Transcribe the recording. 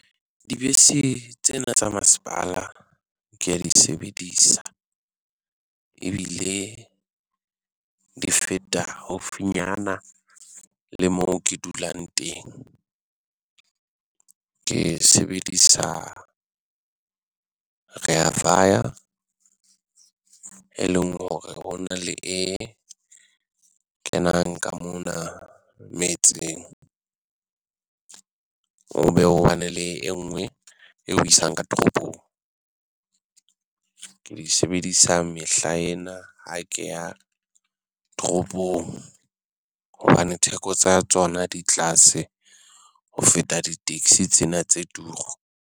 Dibese tsena tsa masepala kea di sebedisa, ebile di feta haufinyana le mo ke dulang teng. Ke sebedisa rea vaya, e leng hore ho na le e kenang ka mona metseng. Ho be ho bane le enngwe e ho isang ka toropong, ke di sebedisa mehla ena ha ke ya toropong hobane theko tsa tsona di tlase ho feta di taxi tsena tse turu.